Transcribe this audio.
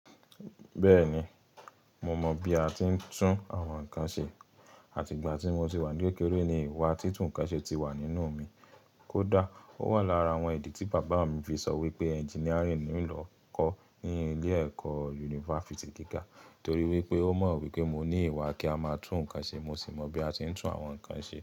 Bẹ́ẹ̀ni, mo mọ bí a ti ń tún àwọn nǹkan ṣe àti ìgbà tí mo ti wà ní kékeré ni ìwà títún nǹkan ṣe ti wà nínú mi. Kódà ó wà lára àwọn ìdí tí bàbá mi fi sọ wípé engineering ni ń ó lọ kọ́ ní ilé-ẹ̀kọ́ yunifásítì gíga torí wípé ó mọ̀ wípé mo ní ìwà kí a máa tún nǹkan ṣe mo sì mọ bí a ti ń tún àwọn nǹkan ṣe.